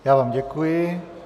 Já vám děkuji.